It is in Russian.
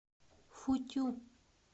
футю